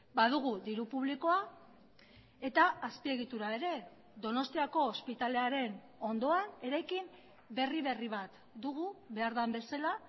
badugu diru publikoa eta azpiegitura ere donostiako ospitalearen ondoan eraikin berri berri bat dugu behar den bezala